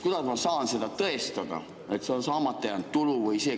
Kuidas ma saan seda tõestada, et see on saamata jäänud tulu?